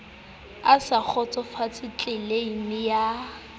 a sa kgotsofatse tleleime ya